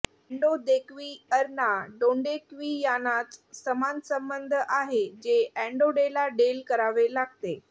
अॅडोदेक्विअरना डोंडेक्वियानाच समान संबंध आहे जे एन्डॉंडेला डेल करावे लागते